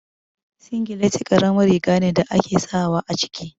Singileti karamin riga ne da ake sawa a ciki